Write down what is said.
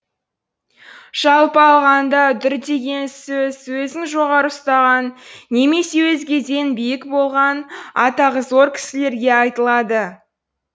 жалпы алғанда дүр деген сөз өзін жоғары ұстаған немесе өзгеден биік болған атағы зор кісілерге айтылады